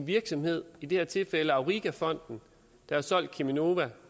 virksomhed i det her tilfælde auriga fonden der har solgt cheminova